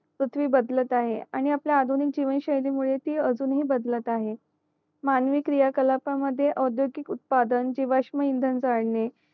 पृथ्वी बदलत आहे आणि आपला आधुनिक जीवन शयली मुळे ती अजून हि बदलत आहे मानवी क्रिया कलाप मध्ये अध्योगिग उत्पादन जीवाश्म इनधन काढणे